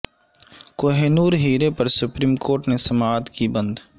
کوہ نور ہیرے پر supreme court نے سماعت کی بند